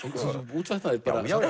útvatnaðir